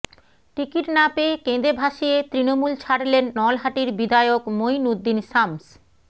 ticket না পেয়ে কেঁদে ভাসিয়ে তৃণমূল ছাড়লেন নলহাটির বিধায়ক মইনুদ্দিন শামস